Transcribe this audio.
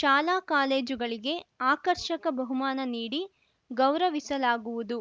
ಶಾಲೆಕಾಲೇಜುಗಳಿಗೆ ಆಕರ್ಷಕ ಬಹುಮಾನ ನೀಡಿ ಗೌರವಿಸಲಾಗುವುದು